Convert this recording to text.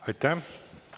Aitäh!